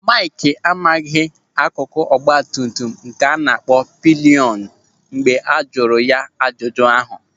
Maịkị amaghị akụkụ ọgbatumtum a na-akpọ pịlịọnụ mgbe a jụrụ ya ajụjụ ahụ.